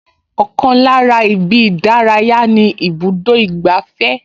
Ọkàn lára ibi ìdárayá ni ibùdó ìgbafẹ́